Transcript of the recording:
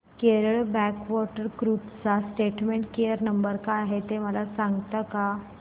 Kerala backwater cruise चा customer care number काय आहे मला सांगता का